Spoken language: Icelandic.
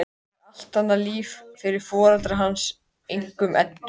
Það er allt annað líf fyrir foreldra hans, einkum Eddu.